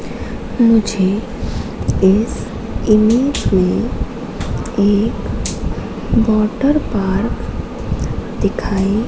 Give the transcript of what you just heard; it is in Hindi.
मुझे इस इमेज में एक वॉटरपार्क दिखाई--